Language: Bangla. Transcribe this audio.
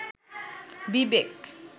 বিবেক